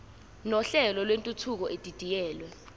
nohlelo lwentuthuko edidiyelwe